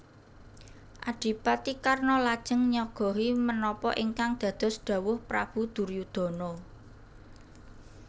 Adipati Karna lajeng nyagahi menapa ingkang dados dhawuh Prabu Duryudana